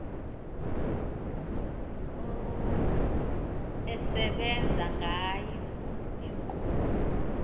esebenza ngayo inkqubo